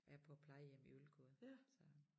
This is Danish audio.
Er på plejehjem i Ølgod så